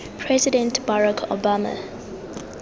president barack obama